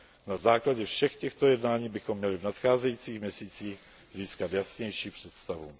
Na základě všech těchto jednání bychom měli v nadcházejících měsících získat jasnější představu.